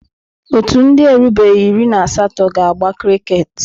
Ọ́tù ndị na-erubeghị iri na asatọ ga-agba kriket.